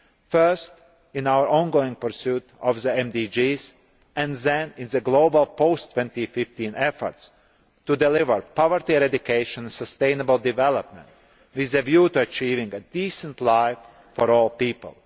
first in our on going pursuit of the MDGs and then in the global post 2015 efforts to deliver poverty eradication and sustainable development with a view to achieving a decent life for all people.